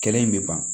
Kɛlɛ in bɛ ban